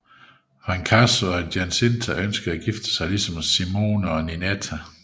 Fracasso og Giacinta ønsker at gifte sig ligesom Simone og Ninetta